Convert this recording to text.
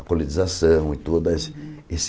A colonização e toda esse esse...